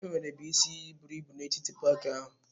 Enwerebu isi iyi buru ibu n'etiti paaki ahụ.